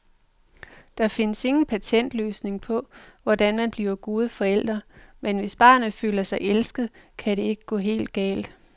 Der findes ingen patentløsning på, hvordan man bliver gode forældre, men hvis barnet føler sig elsket, kan det ikke gå helt galt.